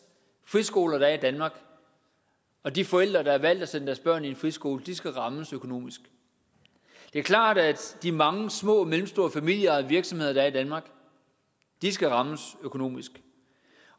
friskoler der er i danmark og de forældre der har valgt at sende deres børn i en friskole skal rammes økonomisk det er klart at de mange små og mellemstore familieejede virksomheder der er i danmark skal rammes økonomisk